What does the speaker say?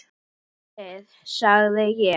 Heyrið þið, sagði ég.